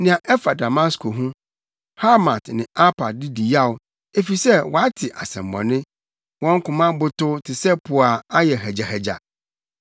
Nea ɛfa Damasko ho: “Hamat ne Arpad di yaw, efisɛ wɔate asɛmmɔne. Wɔn koma abotow te sɛ po a ayɛ hagyahagya.